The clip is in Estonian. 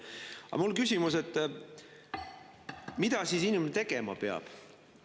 Aga mul on küsimus, et mida siis inimene tegema peab.